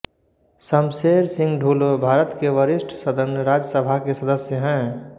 शमशेर सिंह ढुलो भारत के वरिष्ठ सदन राज्यसभा के सदस्य हैं